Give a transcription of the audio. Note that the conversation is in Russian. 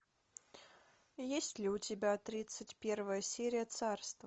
есть ли у тебя тридцать первая серия царство